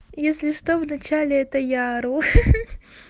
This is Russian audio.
если что в начале это я ору ха ха